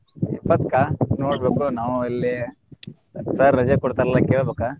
ಇಪ್ಪತ್ಕಾ ನೋಡ್ಬೇಕು ನಾವು ಅಲ್ಲೆ sir ರಜಾ ಕೊಡ್ತಾರ ಇಲ್ಲ ಕೆಳ್ಬೇಕ.